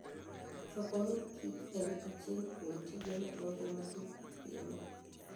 Choko mor kich en achiel kuom tije madongo ma jopur timo.